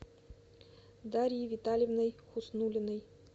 дарьей витальевной хуснуллиной